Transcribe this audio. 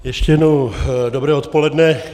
Ještě jednou dobré odpoledne.